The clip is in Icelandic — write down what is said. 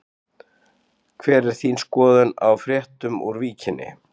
Hver er þín skoðun á fréttunum úr Víkinni?